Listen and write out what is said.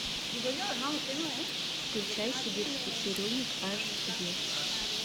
включай сибирский цирюльник аш ди